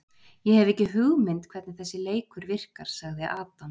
Ég hef ekki hugmynd hvernig þessi leikur virkar sagði Adams.